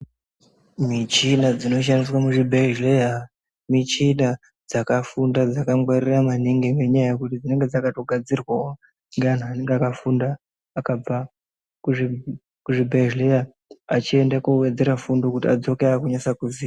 Michina dzinoshandiswa muzvibhedhleya michina dzakafunda dzakagwarira maningi. Ngenyaya yekuti chinonga dzakatogadzirwavo ngeantu anenge akafunda akabva kuzvibhedhleya achienda kovedzera fundo kuti adzoke akunyase kuziya.